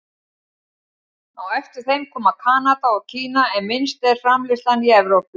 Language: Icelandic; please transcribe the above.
Á eftir þeim koma Kanada og Kína en minnst er framleiðslan í Evrópu.